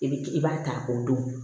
I bi i b'a ta k'o don